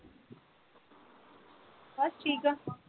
ਬਸ ਠੀਕ ਆ